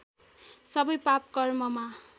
सबै पाप कर्ममा